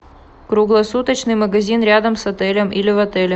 круглосуточный магазин рядом с отелем или в отеле